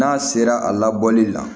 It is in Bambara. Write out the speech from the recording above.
N'a sera a labɔli la